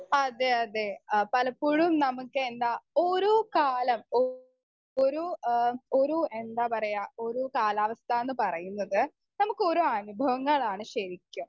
speaker 2 അതെ അതെ ആ പലപ്പോഴും നമ്മുക്ക് എന്താ ഓരോ കാലം ഓ ഓരോ ഏഹ് ഓരോ എന്താ പറയാ ഓരോ കാലാവസ്ഥാന്ന് പറയുന്നത് നമ്മുക്കൊരോ അനുഭവങ്ങളാണ് ശരിക്കും